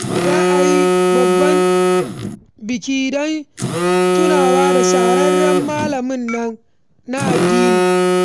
Za a yi babban biki don tunawa da shahararren malamin addinin nan.